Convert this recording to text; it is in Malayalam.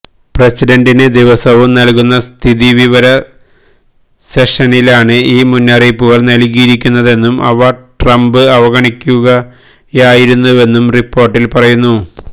പ്രസിഡന്റിന് ദിവസവും നല്കുന്ന സ്ഥിതിവിവര സെഷനിലാണ് ഈ മുന്നറിയിപ്പുകള് നല്കിയിരുന്നതെന്നും അവ ട്രംപ് അവഗണിക്കുകയായിരുന്നുവെന്നും റിപ്പോര്ട്ടില് പറയുന്നു